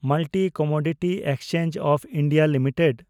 multi commodity exchange of India limited